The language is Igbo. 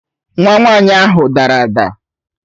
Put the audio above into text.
Nwa nwanyi ahu dara ada